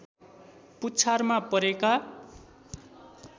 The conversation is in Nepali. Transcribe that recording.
पुच्छारमा परेका